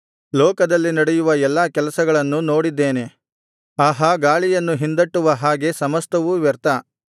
ಲೋಕದಲ್ಲಿ ನಡೆಯುವ ಎಲ್ಲಾ ಕೆಲಸಗಳನ್ನು ನೋಡಿದ್ದೇನೆ ಆಹಾ ಗಾಳಿಯನ್ನು ಹಿಂದಟ್ಟುವ ಹಾಗೆ ಸಮಸ್ತವೂ ವ್ಯರ್ಥ